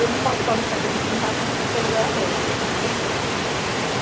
Ele não pode qualificar que a gente invadimos porque é um lugar aberto, totalmente aberto.